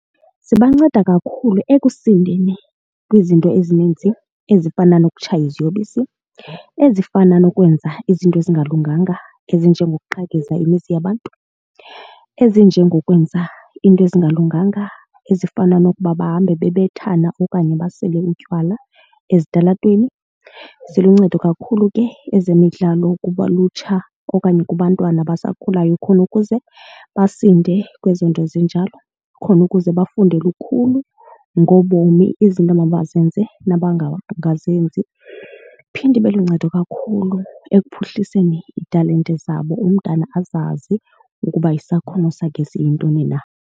Zibanceda kakhulu ekusindeni kwizinto ezininzi ezifana nokutshaya iziyobisi, ezifana nokwenza izinto ezingalunganga ezinje ngokuqhekeza imizi yabantu, ezinje ngokwenza into ezingalunganga ezifana nokuba bahambe babethane okanye basele utywala ezitalatweni. Ziluncedo kakhulu ke ezemidlalo kulutsha okanye kubantwana abasakhulayo khona ukuze basinde kwezo zinto ezinjalo khona ukuze bafunde lukhulu ngobomi izinto emabazenze . Iphinde ibe luncedo kakhulu ekuphuhliseni italente zabo umntana azazi ukuba isakhono sakhe siyintoni na.